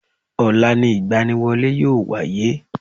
Ọ̀la ni ìgbaniwọlé yíò wáyé